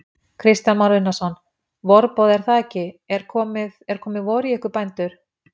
Kristján Már Unnarsson: Vorboði er það ekki, er komið, er komið vor í ykkur bændur?